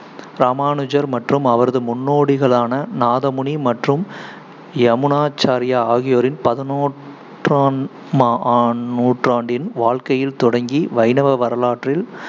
ராமானுஜர் மற்றும் அவரது முன்னோடிகளான நாதமுனி மற்றும் யமுனாச்சார்யா ஆகியோரின் பதினோற்றாம் ஆம் நூற்றாண்டின் வாழ்க்கையில் தொடங்கி வைணவ வரலாற்றில்